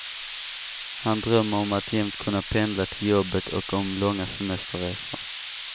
Han drömmer om att jämt kunna pendla till jobbet och om långa semesterresor.